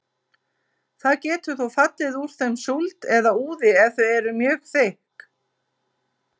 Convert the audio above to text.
Það getur þó fallið úr þeim súld eða úði ef þau eru mjög þykk.